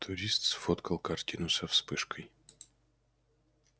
турист сфоткал картину со вспышкой